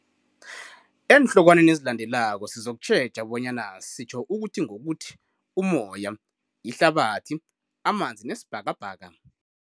Eenhlokwaneni ezilandelako sizokutjheja bonyana sitjho ukuthi ngokuthi umoya, ihlabathi, amanzi nesibhakabhaka.